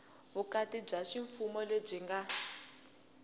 vukati bya ximfumo lebyi nga